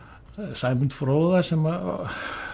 Sæmund fróða sem